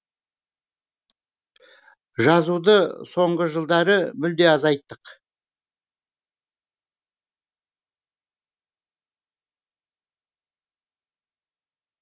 жазуды соңғы жылдары мүлде азайттық